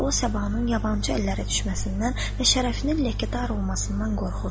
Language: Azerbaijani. O sabahın yabançı əllərə düşməsindən və şərəfinin ləkədar olmasından qorxurdu.